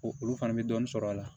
O olu fana bɛ dɔɔnin sɔrɔ a la